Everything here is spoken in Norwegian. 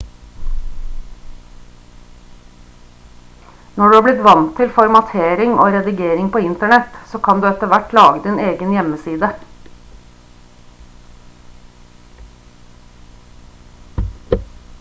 når du har blitt vant til formatering og redigering på internett så kan du etter hvert lage din egen hjemmeside